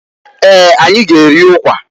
Eeǃ Anyị g'eri ukwa.